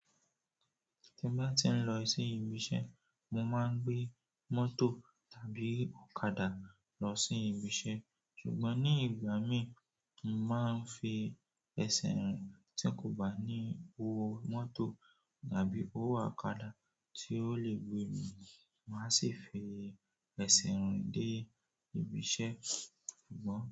Tí mo bá ti ń lọ sí ibi iṣẹ́, mo máa ń gbé mọ́tò tàbí ọ̀kadà lọ sí ibi iṣẹ́. Ṣùgbọ́n ní ìgbà mí, mo máa ń fi ẹsẹ̀ rìn tí kò bá ní owó mọ́tò tàbí owó ọ̀kadà tí ó lè gbé mi, màá sì fi ẹsẹ̀ rìn dé ibi iṣẹ́ ṣùgbọ́n.